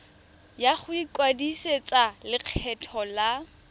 ya go ikwadisetsa lekgetho la